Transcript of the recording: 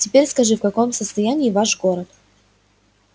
теперь скажи в каком состоянии ваш город